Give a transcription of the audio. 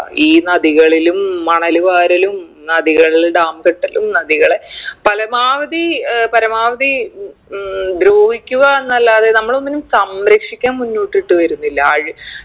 ഈ നദികളിലും മണല് വാരലും നദികളിൽ dam കെട്ടലും നദികളെ പരമാവധി ഏർ പരമാവധി ഉം ഉം ദ്രോഹിക്കുക എന്നല്ലാതെ നമ്മളൊന്നിനും സംരക്ഷിക്കാൻ മുന്നോട്ടിട്ട് വരുന്നില്ലാ ആര്